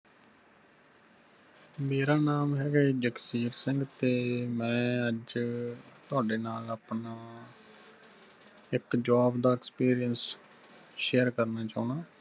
ਮੇਰਾ ਨਾਮ ਹੇਗਾ ਜੀ ਜਗਸੀਰ ਸਿੰਘ ਤੇ ਮੈਂ ਅੱਜ ਤੁਹਾਡੇ ਨਾਲ ਆਪਣਾ ਇਕ job ਦਾ experience share ਕਰਨਾ ਚਾਹੁਨਾ।